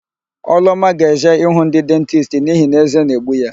Ọlụọma ga-eje ịhụ ndị dentisti n'ihi na ézé na-egbu ya.